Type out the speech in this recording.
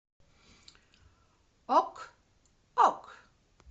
ок ок